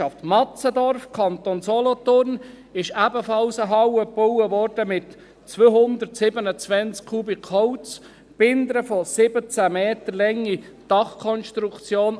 In Matzendorf, Kanton Solothurn, wurde ebenfalls eine Halle gebaut mit 227 Kubikmetern Holz, mit einer 17 Meter langen Dachkonstruktion.